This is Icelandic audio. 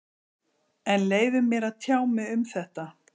En leyfið mér að tjá mig um þetta.